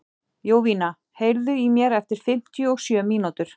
Jovina, heyrðu í mér eftir fimmtíu og sjö mínútur.